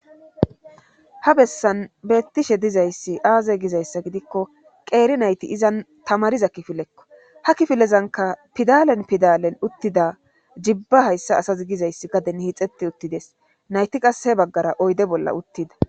ha bessan beettishe dizayssi aaze gizayssa gidikko qeeri nayti izan tamariza kifilekko ha kifilezanka pidalen pidalen uttida jibba hayssa asas gizayssi gaden hiixeti uttides nayti qasehe baggara oyde bolla uttida